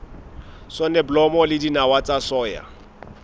soneblomo le dinawa tsa soya